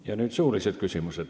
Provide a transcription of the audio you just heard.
Ja nüüd suulised küsimused.